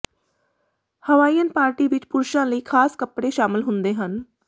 Hawaiian party ਵਿਚ ਪੁਰਸ਼ਾਂ ਲਈ ਖਾਸ ਕੱਪੜੇ ਸ਼ਾਮਲ ਹੁੰਦੇ ਹਨ